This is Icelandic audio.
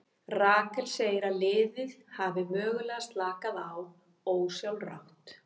Rakel segir að liðið hafi mögulega slakað á ósjálfrátt.